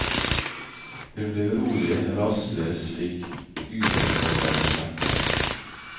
Hun ble urolig, rastløs, fikk udefinerbare smerter.